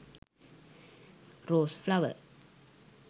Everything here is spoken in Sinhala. rose flower